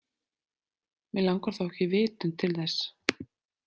Mig langar þó ekki vitund til þess.